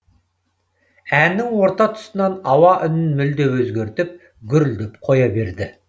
әннің орта тұсынан ауа үнін мүлде өзгертіп гүрілдеп қоя берді